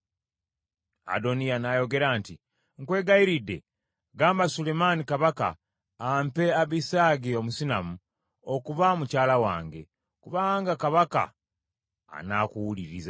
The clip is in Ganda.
Adoniya n’ayogera nti, “Nkwegayiridde gamba Sulemaani kabaka ampe Abisaagi Omusunammu okuba mukyala wange, kubanga kabaka anaakuwuliriza.”